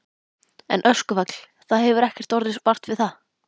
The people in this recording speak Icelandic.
En öskufall, það hefur ekkert orðið vart við það?